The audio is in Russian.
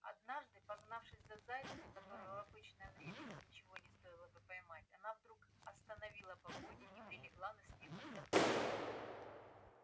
однажды погнавшись за зайцем которого в обычное время ей ничего не стоило бы поймать она вдруг остановила погоню и прилегла на снег отдохнуть